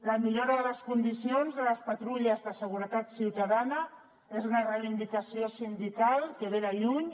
la millora de les condicions de les patrulles de seguretat ciutadana és una reivindicació sindical que ve de lluny